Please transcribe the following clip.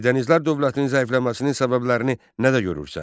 Eldənizlər dövlətinin zəifləməsinin səbəblərini nə də görürsən?